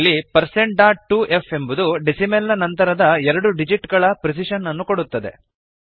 ಇಲ್ಲಿ percent dot two F ಎಂಬುದು decimal ನ ನಂತರ ಎರಡು ಡಿಜಿಟ್ ಗಳ ಪ್ರಿಸಿಶನ್ ಅನ್ನು ಕೊಡುತ್ತದೆ